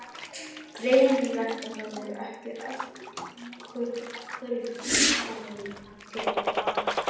Greinilegt að það eru ekki öll kurl komin til grafar!